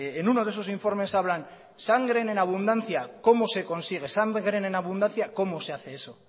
en uno de esos informes hablan de sangre en abundancia cómo se consigue sangre en abundancia cómo se hace eso